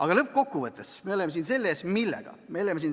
Aga lõppkokkuvõttes, me oleme siin millega?